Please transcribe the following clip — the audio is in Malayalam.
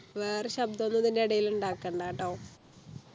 വേറെ ശബ്ദം ഒന്നും ഇതിൻ്റെ ഇടയിൽ ഉണ്ടാക്കണ്ടാട്ടോ